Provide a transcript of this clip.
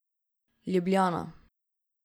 Ljubljana.